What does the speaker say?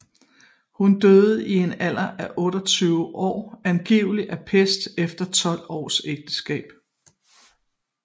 Hun døde i en alder af 28 år angiveligt af pest efter 12 års ægteskab